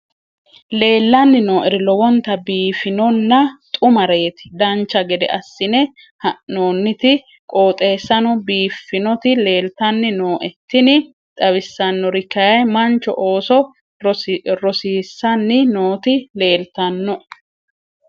leellanni nooeri lowonta biiffinonna xumareeti dancha gede assine haa'noonniti qooxeessano biiffinoti leeltanni nooe tini xawissannori kayi mancho ooso rosiissanni nooti leeltannoe